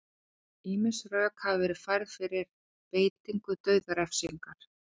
ýmis rök hafa verið færð fyrir beitingu dauðarefsinga